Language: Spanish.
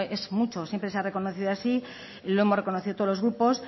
es mucho siempre se ha reconocido así y lo hemos reconocido todos los grupos